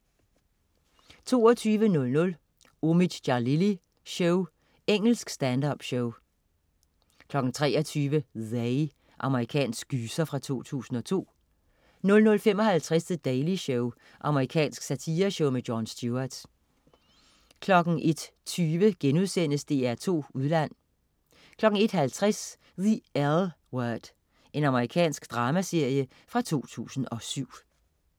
22.00 Omid Djalili Show. Engelsk stand-up-show 23.00 They. Amerikansk gyser fra 2002 00.55 The Daily Show. Amerikansk satireshow. Jon Stewart 01.20 DR2 Udland* 01.50 The L Word. Amerikansk dramaserie fra 2007